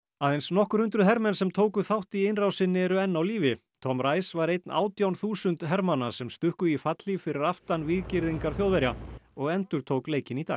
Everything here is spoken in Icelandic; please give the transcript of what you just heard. aðeins nokkur hundruð hermenn sem tóku þátt í innrásinni eru enn á lífi Tom var einn átján þúsund hermanna sem stukku í fallhlíf fyrir aftan víggirðingar Þjóðverja og endurtók leikinn í dag